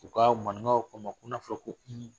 U ka manikaw k'a ma ko na fɔra ko hun